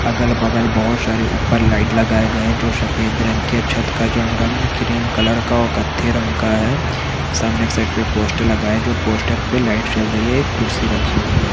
अगल बगल बोहत सारे ऊपर लाइट लगाए गए हैं जो सफेद रंग के छत का जंग रंग क्रीम कलर का और कत्थे रंग का है सामने के साइड पे पोस्टर लगा है जो पोस्टर पे लाइट जल रही है एक कुर्सी रखी हुई हैं।